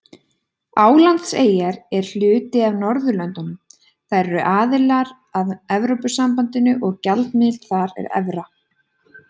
Álandseyjar eru hluti af Norðurlöndunum, þær eru aðilar að Evrópusambandinu og gjaldmiðillinn þar er evra.